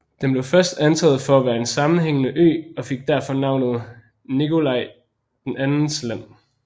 Den blev først antaget for at være en sammenhængende ø og fik derfor navnet Nikolai IIs land